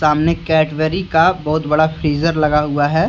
सामने कैडबरी का बहुत बड़ा फ्रिजर लगा हुआ है।